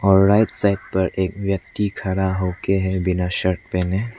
और right side पर एक व्यक्ति खड़ा होके है बिना शर्ट पहने।